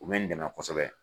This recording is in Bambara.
U bɛ n dɛmɛ kosɛbɛ